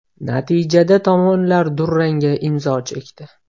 Natijada tomonlar durangga imzo chekdi.